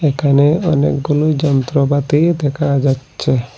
এখানে অনেকগুলো যন্ত্রপাতি দেখা যাচ্ছে।